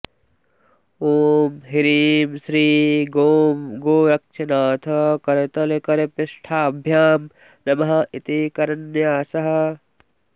ॐ ह्रीं श्री गों गोरक्षनाथ करतलकरपृष्ठाभ्यां नमः इति करन्यासः